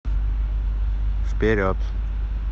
вперед